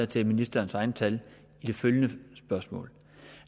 til ministerens egne tal i det følgende spørgsmål